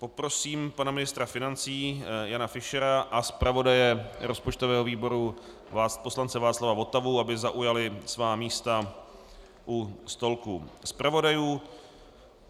Poprosím pana ministra financí Jana Fischera a zpravodaje rozpočtového výboru poslance Václav Votavu, aby zaujali svá místa u stolku zpravodajů.